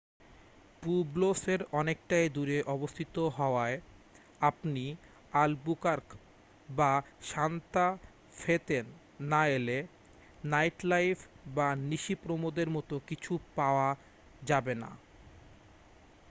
প্যুব্লোসের অনেকটাই দূরে অবস্থিত হওয়ায় আপনি আলবুকার্ক বা সান্তা ফে-তেন না এলে নাইটলাইফ' বা নিশিপ্রমোদের মতো কিছু পাওয়া যাবে না